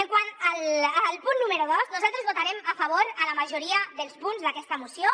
quant al punt número dos nosaltres votarem a favor de la majoria dels punts d’aquesta moció